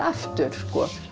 aftur